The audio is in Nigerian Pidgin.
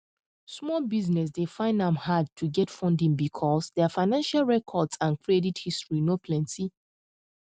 small businesses dey find am hard to get funding because their financial records and credit history no plenty